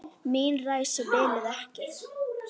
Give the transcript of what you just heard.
Mín ræsi biluðu ekki.